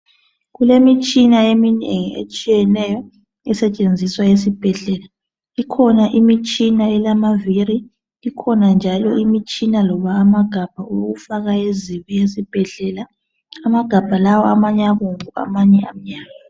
Kulemitshina eminengi etshiyeneyo esetshenziswa esibhedlela . Ikhona imitshina elamaviri, ikhona njalo imitshina loba amagabha wokufaka ezibi esibhedlela. Amagabha lawa amanye abomvu amanye amhlophe.